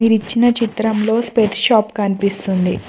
ఇక్కడ ఇచ్చిన చిత్రంలో స్పెక్ట్స్ షాప్ కనిపిస్తుంది.